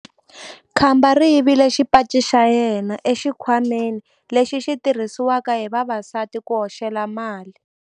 Khamba ri yivile xipaci xa yena exikhwameni lexi xi tirhisiwaka hi vavasati ku hoxela mali.